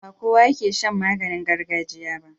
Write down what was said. Ba kowa yake shan maganin gargajiya ba.